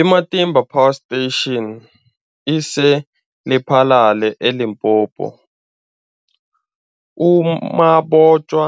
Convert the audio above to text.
I-Matimba Power Station ise-Lephalale, eLimpopo. U-Mabotja